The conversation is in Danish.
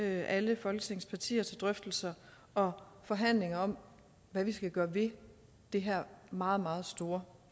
alle folketingets partier til drøftelser og forhandlinger om hvad vi skal gøre ved det her meget meget store